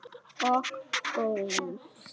Og Guðs.